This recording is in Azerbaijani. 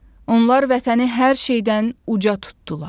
Onlar Vətəni hər şeydən uca tutdular.